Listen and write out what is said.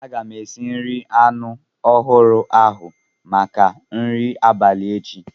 Aga m esi nri anu ahuru ahu maka nri abalị echi.